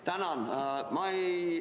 Tänan!